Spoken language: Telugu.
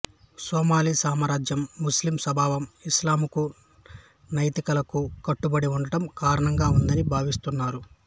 సోమాలి సమాజం ముస్లిం స్వభావం ఇస్లామికు నైతికాలకు కట్టుబడి ఉండడం కారణంగా ఉందని భావిస్తున్నారు